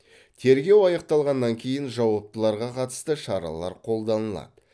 тергеу аяқталғаннан кейін жауаптыларға қатысты шаралар қолданылады